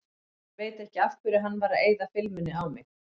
Veit ekki af hverju hann var að eyða filmunni á mig.